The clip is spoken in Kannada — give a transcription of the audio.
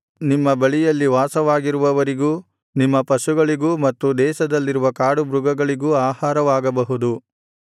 ನಿಮ್ಮ ಬಳಿಯಲ್ಲಿ ವಾಸವಾಗಿರುವವರಿಗೂ ನಿಮ್ಮ ಪಶುಗಳಿಗೂ ಮತ್ತು ದೇಶದಲ್ಲಿರುವ ಕಾಡುಮೃಗಗಳಿಗೂ ಆಹಾರವಾಗಬಹುದು